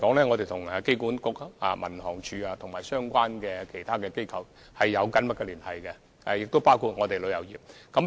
我們跟機管局、民航處和其他相關機構，包括旅遊業，一直保持緊密的聯繫。